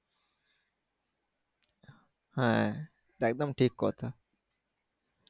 হ্যাঁ একদম ঠিক কথা